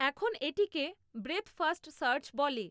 এখন এটিকে breadth first search বলে।